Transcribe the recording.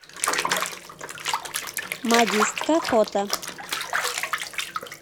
модистка фото